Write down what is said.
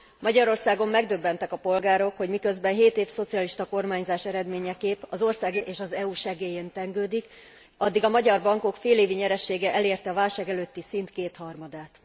Magyarországon megdöbbentek a polgárok, hogy miközben 7 év szocialista kormányzás eredményeképp az ország jelenleg az IMF és az EU segélyén tengődik, addig a magyar bankok félévi nyeresége elérte a válság előtti szint kétharmadát.